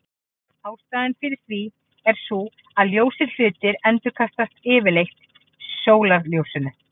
Ástæðan fyrir því er sú að ljósir hlutir endurkasta yfirleitt sólarljósinu.